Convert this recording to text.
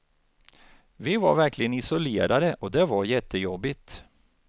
Vi var verkligen isolerade och det var jättejobbigt.